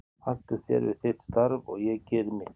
Haltu þér við þitt starf og ég geri mitt.